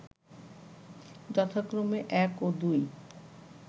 যথাক্রমে এক ও দুই